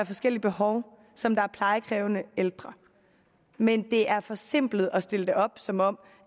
forskellige behov som der er plejekrævende ældre men det er forsimplet at stille det op som om